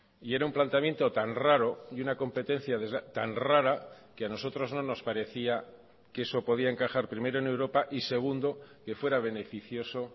y era un planteamiento tan raro y una competencia tan rara que a nosotros no nos parecía que eso podía encajar primero en europa y segundo que fuera beneficioso